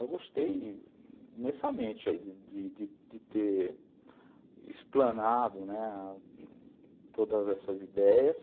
Eu gostei imensamente de de ter explanado todas essas ideias.